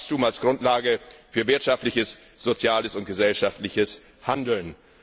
Wachstum als Grundlage für wirtschaftliches, soziales und gesellschaftliches Handeln.